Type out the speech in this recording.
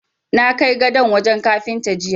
Na kai gadon wajen Kafinta jiya.